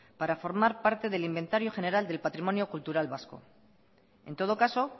para formar parte del inventario general del patrimonio cultural vasco en todo caso